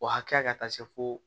O hakɛya ka taa se fo